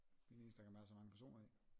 Det den eneste der kan være så mange personer i